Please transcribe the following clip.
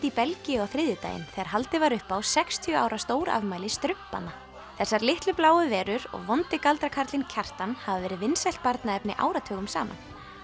í Belgíu á þriðjudaginn þegar haldið var upp á sextíu ára stórafmæli strumpanna þessar litlu bláu verur og vondi galdrakarlinn Kjartan hafa verið vinsælt barnaefni áratugum saman